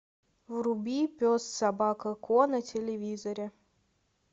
вруби пес собака ко на телевизоре